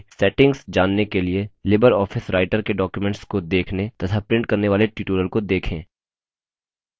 libreoffice writer के documents को देखने तथा प्रिंट करने वाले tutorial को देखें